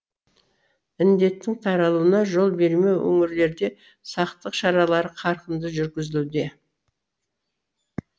індеттің таралуына жол бермеу өңірлерде сақтық шаралары қарқынды жүргізілуде